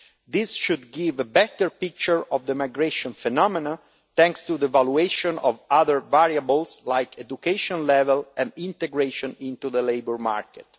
This should give a better picture of the migration phenomenon, thanks to the valuation of other variables like education level and integration in the labour market.